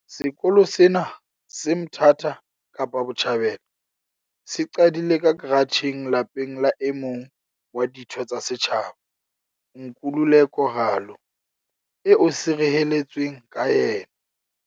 Sekolo sena, se Mthatha Kapa Botjhabela, se qadile ka karatjheng lapeng la e mong wa ditho tsa setjhaba, Nkululeko Ralo, eo se reheletsweng ka yena.